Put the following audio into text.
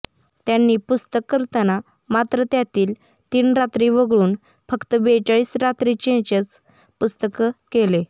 त्यांनी पुस्तक करताना मात्र त्यातील तीन रात्री वगळून फक्त बेचाळीस रात्रींचेच पुस्तक केले